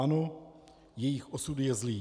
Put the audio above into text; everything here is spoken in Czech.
Ano, jejich osud je zlý.